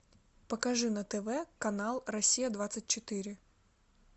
покажи на тв канал россия двадцать четыре